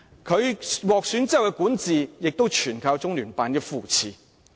他獲選之後的管治，亦全靠中聯辦的扶持。